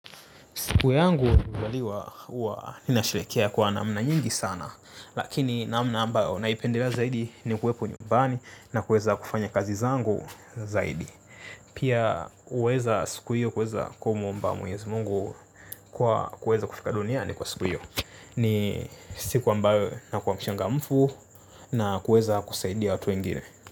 Siku yangu ya kuzaliwa huwa nina sheherekea kwa namna nyingi sana. Lakini namna ambayo naipendelea zaidi ni kuwepo nyumbani na kuweza kufanya kazi zangu zaidi. Pia huweza siku hiyo kuweza kumuomba mwenyezi mungu kwa kuweza kufika duniani kwa siku hiyo ni siku ambayo na kuwa mchangamfu na kuweza kusaidia watu wengine.